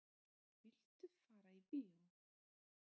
Viltu fara í bíó?